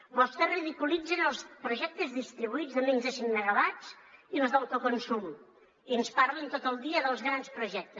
vostès ridiculitzen els projectes distribuïts de menys de cinc megawatts i els d’autoconsum i ens parlen tot el dia dels grans projectes